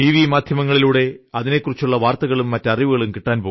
മാധ്യമങ്ങളിലൂടെ അതിനെക്കുറിച്ചുള്ള വാർത്തകളും മറ്റ് വിവരങ്ങളും കിട്ടും